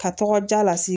Ka tɔgɔ di a lase